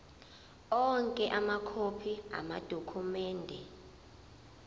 onke amakhophi amadokhumende